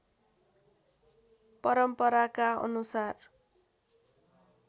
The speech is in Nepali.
परम्पराका अनुसार